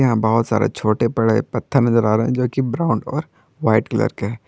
बहुत सारे छोटे बड़े पत्थर नजर आ रहे हैं जो कि ब्राऊन और वाइट कलर के।